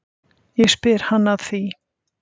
Ég spyr hann að því.